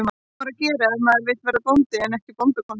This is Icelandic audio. Hvað á maður að gera ef maður vill verða bóndi en ekki bóndakona?